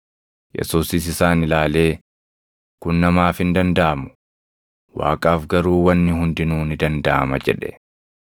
Yesuusis isaan ilaalee, “Kun namaaf hin dandaʼamu; Waaqaaf garuu wanni hundinuu ni dandaʼama” jedhe.